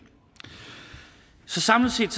så samlet set